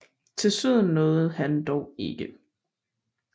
Til syden nåede han dog ikke